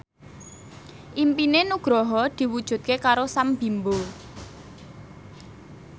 impine Nugroho diwujudke karo Sam Bimbo